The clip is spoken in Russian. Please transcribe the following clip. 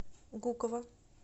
гуково